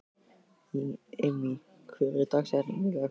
Immý, hver er dagsetningin í dag?